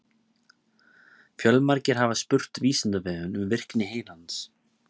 Fjölmargir hafa spurt Vísindavefinn um virkni heilans.